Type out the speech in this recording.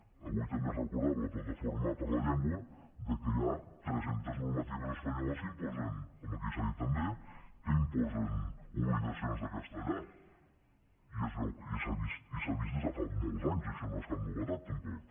avui també es recordava la plataforma per la llengua que hi ha tres centes normatives espanyoles com aquí s’ha dit també que imposen obligacions de castellà i s’ha vist des de fa molts anys això no és cap novetat tampoc